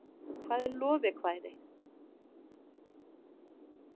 hvað er lovekvæði